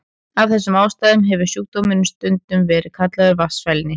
Af þessum ástæðum hefur sjúkdómurinn stundum verið kallaður vatnsfælni.